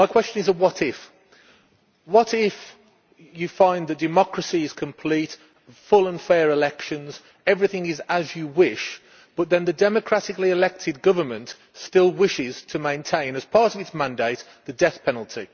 My question is a what if' what if you find the democracy is complete full and fair elections everything is as you wish, but then the democratically elected government still wishes to maintain, as part of its mandate, the death penalty?